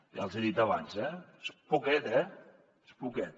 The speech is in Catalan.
ja els hi he dit abans eh és poquet és poquet